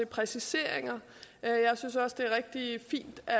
præciseringer og jeg synes også det er rigtig fint at